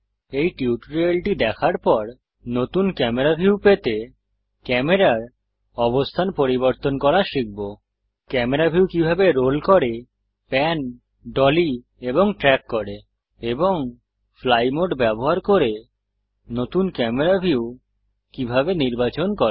এই টিউটোরিয়ালটি দেখার পর নতুন ক্যামেরা ভিউ পেতে ক্যামেরার অবস্থান পরিবর্তন করা শিখব ক্যামেরা ভিউ কিভাবে রোল করে প্যান ডলী এবং ট্রেক করে এবং ফ্লাই মোড ব্যবহার করে নতুন ক্যামেরা ভিউ কিভাবে নির্বাচন করে